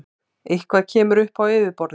Eitthvað kemur upp á yfirborðið